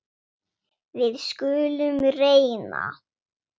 Við skulum reyna.